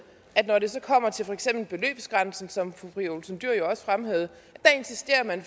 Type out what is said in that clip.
at når det så kommer til for eksempel beløbsgrænsen som fru pia olsen dyhr jo også fremhævede insisterer man